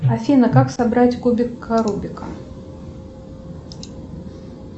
афина как собрать кубик рубика